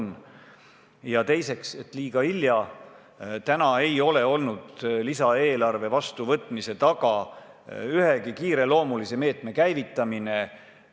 Mis puutub süüdistusse, et on liiga hilja, siis seni ei ole lisaeelarve vastuvõtmise taga seisnud ühegi kiireloomulise meetme käivitamine.